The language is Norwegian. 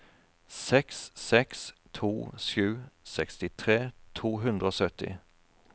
seks seks to sju sekstitre to hundre og sytti